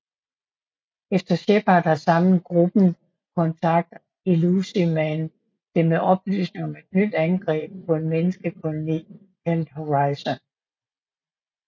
Efter Shepard har samlet gruppen kontakter Illusive Man dem med oplysninger om et nyt angreb på en menneskekoloni kaldet Horizon